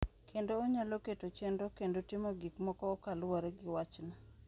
Kendo onyalo keto chenro kendo timo gik moko kaluwore gi wachno.